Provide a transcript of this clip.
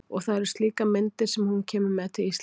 Og það eru slíkar myndir sem hún kemur með til Íslands.